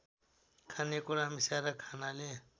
खानेकुरा मिसाएर खानाले